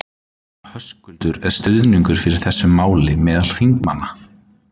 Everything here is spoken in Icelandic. Höskuldur: Er stuðningur fyrir þessu máli meðal þingmanna?